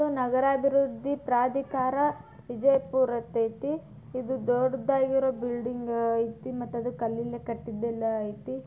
ಇದು ನಗರಾಭಿವೃದ್ಧಿ ಪ್ರಾಧಿಕಾರ ವಿಜಯ್ಪುರ್ ಅಂತೈತಿ ಇದು ದೊಡ್ಡಾಗಿ ಬಿಲ್ಡಿಂಗ್ ಐತಿ ಮತ್ತೆ ಅದು ಕಲ್ಲಿಂದ ಕಟ್ಟಿದೆಲ್ಲಾ ಐತಿ.